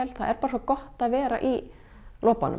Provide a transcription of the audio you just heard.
það er bara svo gott að vera í